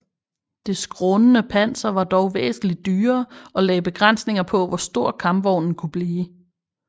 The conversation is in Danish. Det skrånende panser var dog væsentlig dyrere og lagde begrænsninger på hvor stor kampvognen kunne blive